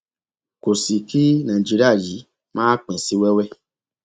kò sì kí nàìjíríà yìí má pín sí wẹwẹ